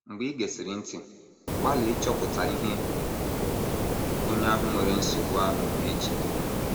Mgbe i gesịrị ntị, gbalịa ịchọpụta ihe onye ahụ nwere nsogbu ahụ na - eche.